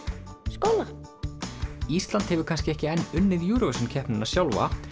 skólanum ísland hefur kannski ekki enn unnið Eurovision keppnina sjálfa